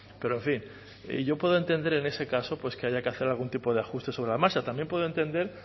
pero en fin yo puedo entender en ese caso que haya que hacer algún tipo de ajuste sobre la marcha también puedo entender